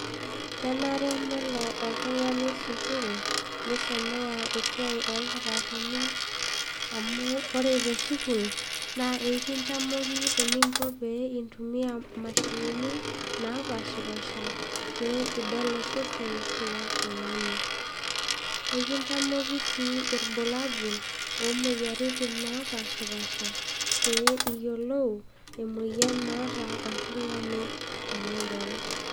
Kenare nelo oltungani sukul nisomea esiai olkitarini. amu ore tesukul na ekintamoki eningo pee intumia imashini, napashipasha pe idol osesen lontungani, ekitamoki si ilbulabul omoyiaritin napashipasha pe iyiolou emoyian naata oltungani tenidol.